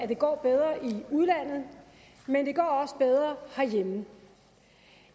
det går bedre i udlandet men det går også bedre herhjemme